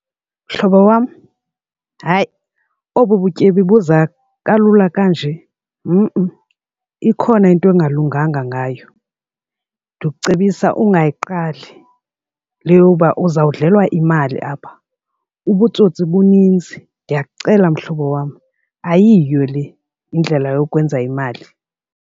Mhlobo wam, hayi obu butyebi buza kalula kanje ikhona into engalunganga ngayo. Ndikucebisa ungayiqali le yoba uzawudlelwa imali apha, ubutsotsi buninzi. Ndiyakucela, mhlobo wam, ayiyo le indlela yokwenza imali.